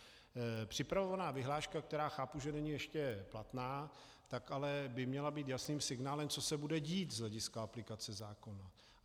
Připravovaná vyhláška, která chápu, že není ještě platná, tak ale by měla být jasným signálem, co se bude dít z hlediska aplikace zákona.